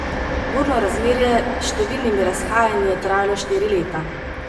Burno razmerje s številnimi razhajanji je trajalo štiri leta.